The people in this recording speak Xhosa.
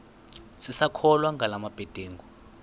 sisakholwa ngala mabedengu